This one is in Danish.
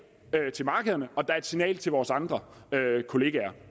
til markederne og et signal til vores andre kollegaer